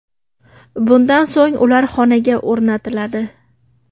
Bundan so‘ng ular xonaga o‘rnatiladi.